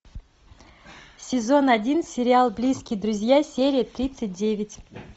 сезон один сериал близкие друзья серия тридцать девять